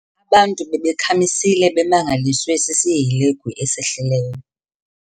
Abantu bebakhamisile bemangaliswe sisihelegu esehlileyo.